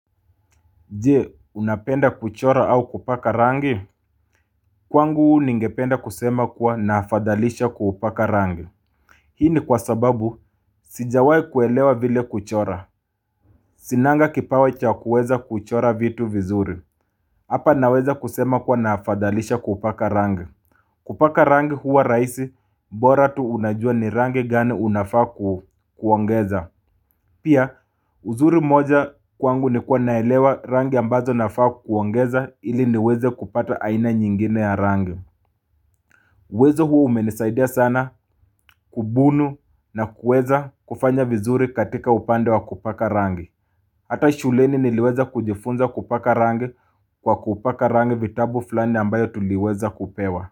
Je, unapenda kuchora au kupaka rangi? Kwangu ningependa kusema kuwa na afadhalisha kupaka rangi. Hii ni kwa sababu, sijawahi kuelewa vile kuchora. Sinanga kipawa cha kuweza kuchora vitu vizuri. Hapa naweza kusema kuwa naafadhalisha kupaka rangi. Kupaka rangi huwa rahisi, bora tu unajua ni rangi gani unafaa kuongeza. Pia, uzuri moja kwangu ni kuwa naelewa rangi ambazo nafaa kuongeza ili niweze kupata aina nyingine ya rangi. Wezo huu umenisaidia sana kubunu na kuweza kufanya vizuri katika upande wa kupaka rangi. Hata shuleni niliweza kujifunza kupaka rangi kwa kupaka rangi vitabu flani ambayo tuliweza kupewa.